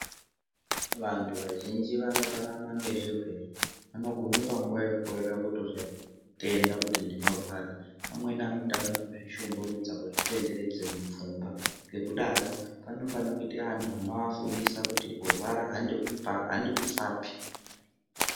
Vantu vazhinji vanorarama ngezvirwere. Vanogume panguwa yekukorere kutozvitenda kuti ndinorwara. Amweni anotanga kuzvishungurudza, kuzvitenderedze mupfungwa. Ngekudaro panofanira kuite anhu anofundisa kuti kurwara handiku handikufapi.